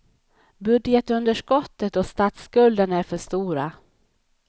Budgetunderskottet och statsskulden är för stora.